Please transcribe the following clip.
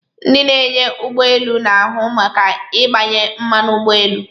Ndị na-anya ụgbọ elu na-ahụ maka ịgbanye mmanụ ụgbọ elu.